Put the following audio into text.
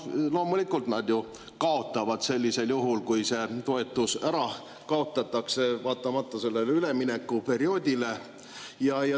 Loomulikult nad ju kaotavad sellisel juhul, kui see toetus ära kaotatakse, vaatamata sellele üleminekuperioodile.